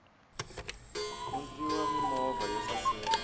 ku ndliwa mimovha yo saseka